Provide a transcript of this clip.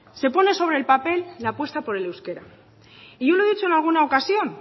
se pone sobre el papel la apuesta por el euskera y yo le he dicho en alguna ocasión